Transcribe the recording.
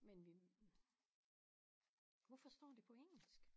Men vi hvorfor står det på engelsk?